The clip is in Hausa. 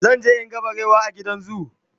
zanje in ga barewa a gidan zoo